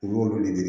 U b'olu de ɲini